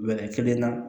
kelen na